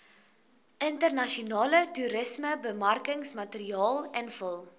internasionale toerismebemarkingsmateriaal invul